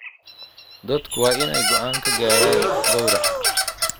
Dadku waa inay go'aan ka gaadhaan gowraca.